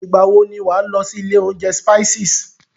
Ìgbà wọ ni wà á lọ sí ilé oúnjẹ Spices?